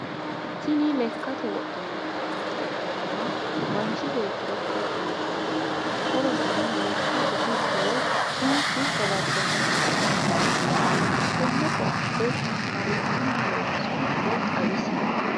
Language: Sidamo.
Tini lekkate wodhinanni koatte ikkitanna manchi beettira horo uuyiitanote horoseno lekka gufichchu woyi kinchchu gawajjannokki gede kaaalitanno tenne koatte marichinni loonsoiniro xawisie?